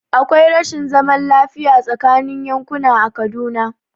Akwai rashin zaman lafiya tsaakanin yankuna a Kaduna.